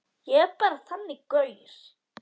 Ég er bara þannig gaur.